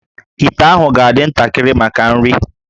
íté ahụ ga-adị ntakịrị maka nri